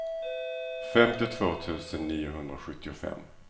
femtiotvå tusen niohundrasjuttiofem